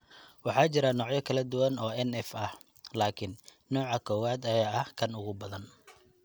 Waxaa jira noocyo kala duwan oo NF ah, laakiin nooca kowaad ayaa ah kan ugu badan.